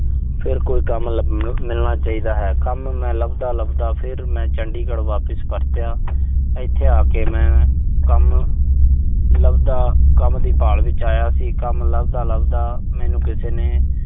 ਫਿਰ ਕੋਈ ਕੰਮ ਲੱਭ ਅਹ ਮਿਲਣਾ ਚਾਹੀਦਾ ਹੈ। ਕੰਮ ਮੈਂ ਲੱਭਦਾ-ਲੱਭਦਾ ਫਿਰ ਮੈਂ ਚੰਡੀਗੜ ਵਾਪਸ ਪਰਰਿਆ। ਇਥੇ ਆ ਕੇ ਮੈਂ ਕੰਮ ਲੱਭਦਾ, ਕੰਮ ਦੀ ਭਾਲ ਵਿੱਚ ਆਇਆ ਸੀ। ਕੰਮ ਲੱਭਦਾ-ਲੱਭਦਾ, ਮੈਨੂੰ ਕਿਸ ਨੇ